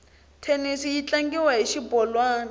thenisi yi tlangiwa hi xibolwani